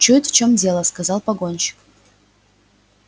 чует в чем дело сказал погонщик